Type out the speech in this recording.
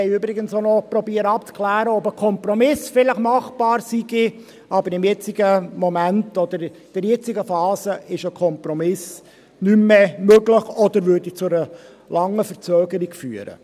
Wir haben übrigens auch noch versucht, abzuklären, ob vielleicht ein Kompromiss machbar wäre, aber im jetzigen Moment oder in der jetzigen Phase ist ein Kompromiss nicht mehr möglich oder würde zu einer langen Verzögerung führen.